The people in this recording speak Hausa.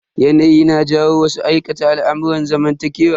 Yanayi na jawo wasu aikata al'amurran zamantakewa.